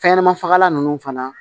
Fɛnɲɛnɛma fagalan ninnu fana